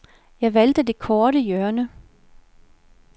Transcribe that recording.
Jeg valgte det korte hjørne.